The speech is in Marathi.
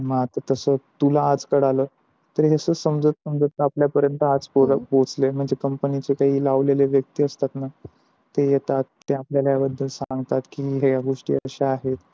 मग तस आता तुला आज कळालं, तर अस समझुत समझुत आपल्या पर्यन्त आज पोहचले म्हणजे company चे काही लावलेले व्यक्ति असतात न ते येतात ते आपल्याला या बदल सांगतात की ह्या गोष्टी अशा आहे